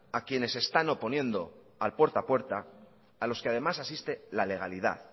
a quienes se están oponiendo al puerta a puerta a los que además asiste la legalidad